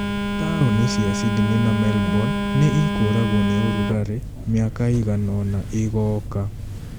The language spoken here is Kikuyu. Taũni cia Sydney na Melbourne nĩ ikũragwo nĩ ũrugarĩ mĩaka ĩigana ũna ĩgoka